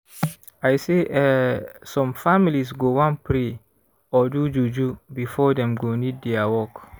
i say eeh some families go wan pray or do juju before dem go need dia work.